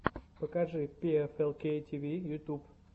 покажи пиэфэлкей тиви ютуб